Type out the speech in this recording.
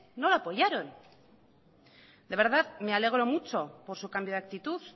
no lo apoyaron de verdad me alegro mucho por su cambio de actitud